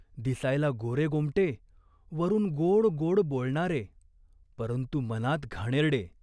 दिसायला गोरेगोमटे , वरून गोड गोड बोलणारे, परंतु मनात घाणेरडे.